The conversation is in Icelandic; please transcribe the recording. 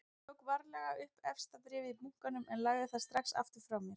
Ég tók varlega upp efsta bréfið í bunkanum en lagði það strax frá mér aftur.